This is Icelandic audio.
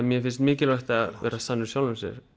mér finnst mikilvægt að vera sannur sjálfum sér